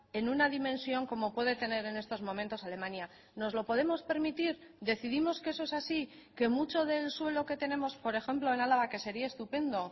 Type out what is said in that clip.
en una dimensión como puede tener en estos momentos alemania nos lo podemos permitir decidimos que eso es así que mucho del suelo que tenemos por ejemplo en álava que sería estupendo